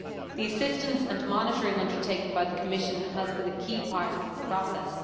The assistance and monitoring undertaken by the Commission has been a key part of this process.